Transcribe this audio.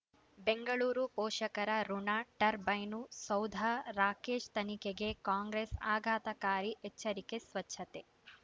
ಬೆಂಗಳೂರು ಪೋಷಕರಋಣ ಟರ್ಬೈನು ಸೌಧ ರಾಕೇಶ್ ತನಿಖೆಗೆ ಕಾಂಗ್ರೆಸ್ ಆಘಾತಕಾರಿ ಎಚ್ಚರಿಕೆ ಸ್ವಚ್ಛತೆ